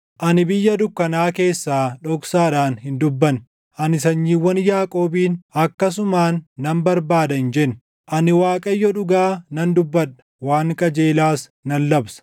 Ani biyya dukkanaa keessaa dhoksaadhaan hin dubbanne; ani sanyiiwwan Yaaqoobiin, ‘Akkasumaan na barbaadaa’ hin jenne. Ani Waaqayyo dhugaa nan dubbadha; waan qajeelaas nan labsa.